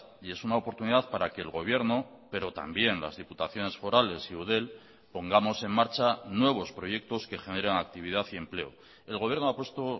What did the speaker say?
y es una oportunidad para que el gobierno pero también las diputaciones forales y eudel pongamos en marcha nuevos proyectos que generan actividad y empleo el gobierno ha puesto